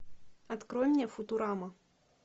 открой мне футурама